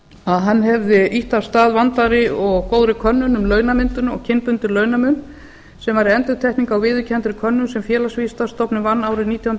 að hann hefði ýtt af stað vandaðri og góðri könnun um launamyndun og kynbundinn launamun sem væri endurtekning á viðurkenndri könnun sem félagsvísindastofnun vann árið nítján hundruð níutíu